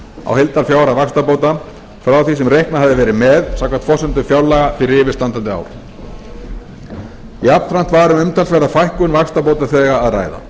á heildarfjárhæð vaxtabóta frá því sem reiknað hafði verið með samkvæmt forsendum fjárlaga fyrir yfirstandandi ár jafnframt var um umtalsverða fækkun vaxtabótaþega að ræða